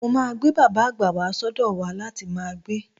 Mo máa gbé bàbà àgbà wà sọ́dọ̀ wa láti máa gbé.